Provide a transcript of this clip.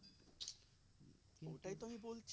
তো ওটাই তো আমি বলছি